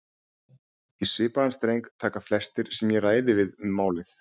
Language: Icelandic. Í svipaðan streng taka flestir sem ég ræði við um málið.